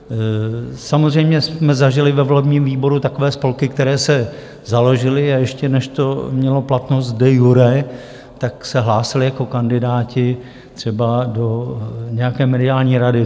Samozřejmě jsme zažili ve volebním výboru takové spolky, které se založily, a ještě než to mělo platnost de iure, tak se hlásily jako kandidáti třeba do nějaké mediální rady.